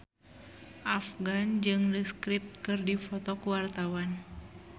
Afgan jeung The Script keur dipoto ku wartawan